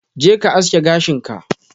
Je ka aske gashin ka!